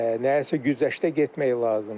Nəyəsə güzəştə getmək lazımdır.